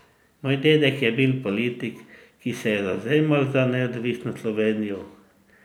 Moj dedek je bil politik, ki se je zavzemal za neodvisno Slovenijo.